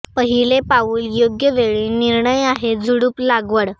पहिले पाऊल योग्य वेळी निर्णय आहे झुडूप लागवड